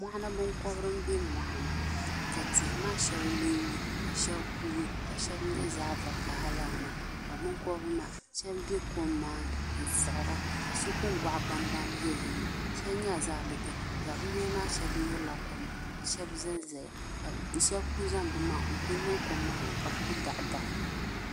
Mɔɣuni binkɔbri m be mɔɣuni ka tihi maa sheŋa lunlu la sheli kuugi ka sheli nyɛ zaɣa vakaɣala lala maa ka binkobri maa sheba be kom maani n siɣira ka so kuli waɣa bambam zaya sheba nyɛla zaɣa bibihi bibihi maa sheba nyurila koma ka sheba zanzaya ka sheba kuli zaŋ bɛ maŋa n kuli niŋ kom maani ka bɛ kuli daɣidaɣi.